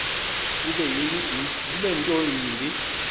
bube nto yimbi